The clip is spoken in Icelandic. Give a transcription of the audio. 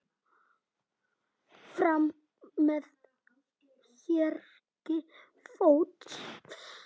Fram með hægri fót.